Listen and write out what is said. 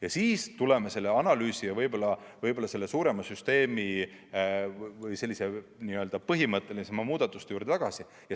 Ja siis tuleme selle analüüsi ja võib-olla selle suurema süsteemi või põhimõttelisemate muudatuste juurde tagasi.